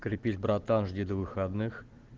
крепись братан жди до выходных